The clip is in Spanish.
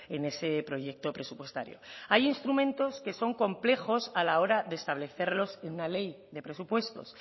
en ese proyecto presupuestario hay instrumentos que son complejos a la hora de establecerlos en una ley de presupuestos